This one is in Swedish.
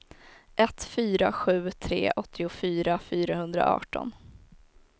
ett fyra sju tre åttiofyra fyrahundraarton